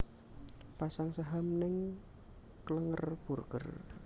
Pasang saham ning Klenger Burger